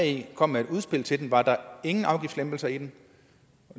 i kom med et udspil til den var der ingen afgiftslempelser i den